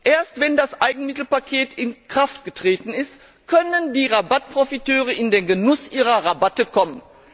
Erst wenn das Eigenmittelpaket in Kraft getreten ist, können die Rabattprofiteure in den Genuss ihrer Rabatte kommen.